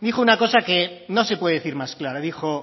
dijo una cosa que no se puede decir más clara dijo